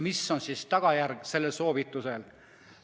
Mis on selle soovituse tagajärg?